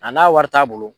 A n'a wari t'a bolo